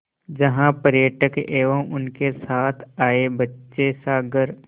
जहाँ पर्यटक एवं उनके साथ आए बच्चे सागर